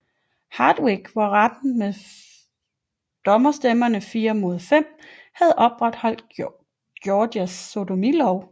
Hardwick hvor retten med dommerstemmerne 5 mod 4 havde opretholdt Georgias sodomilov